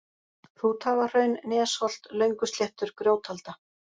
Hrúthagahraun, Nesholt, Löngusléttur, Grjótalda